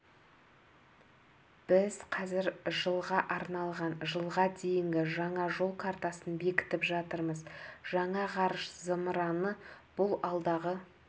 біз қазір жылға арналған жылға дейінгі жаңа жол картасын бекітіп жатырмыз жаңа ғарыш зымыраны бұл алдағы